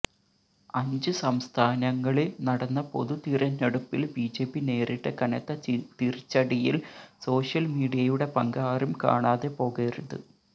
അഞ്ച് സംസ്ഥാനങ്ങളില് നടന്ന പൊതു തിരഞ്ഞെടുപ്പില് ബിജെപി നേരിട്ട കനത്ത തിരിച്ചടിയില് സോഷ്യല് മീഡിയയുടെ പങ്ക് ആരും കാണാതെ പോകരുത്